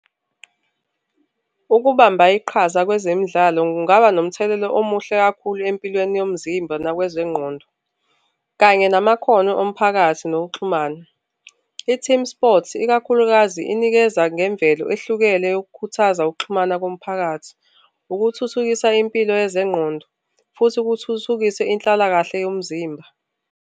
Ukubamba iqhaza kwezemidlalo kungaba nomthelela omuhle kakhulu empilweni yomzimba nakwezengqondo kanye namakhono omphakathi nokuxhumana. I-team sports, ikakhulukazi inikeza ngemvelo ehlukene yokukhuthaza ukuxhumana komphakathi, ukuthuthukisa impilo yezenqondo futhi kuthuthukiswe inhlalakahle yomzimba.